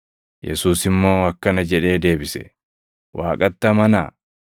Yesuus immoo akkana jedhee deebise; “Waaqatti amanaa.